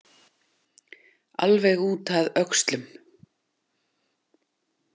Alveg út að öxlum!